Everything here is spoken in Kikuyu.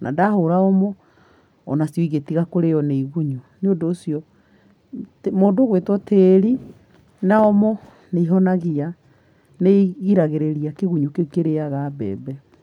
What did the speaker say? na ndahũra OMO onacio igĩtiga kũrĩo nĩ igunyũ, niũndũ ũcio mũndũ ũgũitwo tĩrĩ na OMO nĩ ĩhonagia. Nĩ igiragĩrĩria kĩgunyũ kĩu kĩrĩaga mbembe.